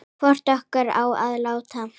Hvor okkar á að láta